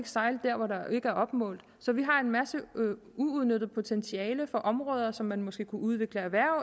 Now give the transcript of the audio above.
sejle der hvor der ikke er opmålt så vi har en masse uudnyttet potentiale for områder som man måske kunne udvikle erhverv